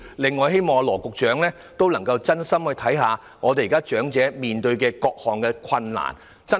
此外，希望羅局長能真心看看長者現時面對的各種困難，對症下藥。